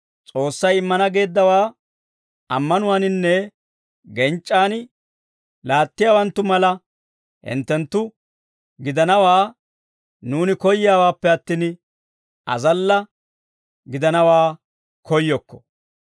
S'oossay immana geeddawaa ammanuwaaninne genc'c'an laattiyaawaanttu mala hinttenttu gidanawaa nuuni koyyiyaawaappe attin, azalla gidanawaa koyyokko.